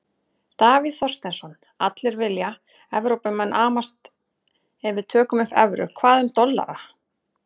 Davíð Þorsteinsson: Allir vilja, Evrópumenn amast ef við tökum upp evru, hvað um dollar?